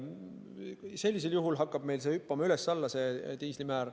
Sellisel juhul hakkab meil diisliaktsiisi määr hüppama üles-alla.